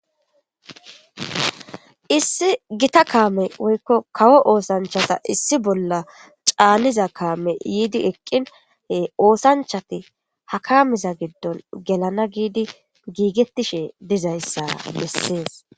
issi gita kaame woykko kawo oosanchata issi bolla caaniza kaame yiidi eqqinhe oosanchati ha kaamiza giddon gelana giidi giigettishe dizayssara bessees